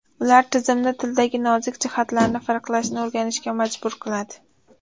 Ular tizimni tildagi nozik jihatlarni farqlashni o‘rganishga majbur qiladi.